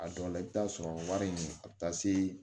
A dɔw la i bɛ taa sɔrɔ wari in a bɛ taa se